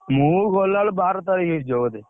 ମୁଁ ଗଲା ବେଳକୁ ବାର ତାରିଖ୍ ହେଇଯିବ ବୋଧେ।